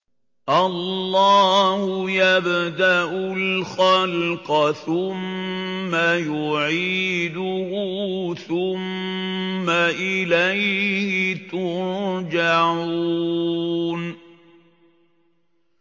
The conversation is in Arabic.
اللَّهُ يَبْدَأُ الْخَلْقَ ثُمَّ يُعِيدُهُ ثُمَّ إِلَيْهِ تُرْجَعُونَ